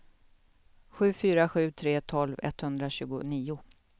sju fyra sju tre tolv etthundratjugonio